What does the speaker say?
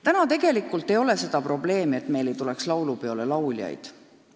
Täna tegelikult ei ole seda probleemi, et laulupeole pole lauljaid tulemas.